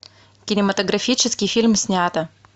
кинематографический фильм снято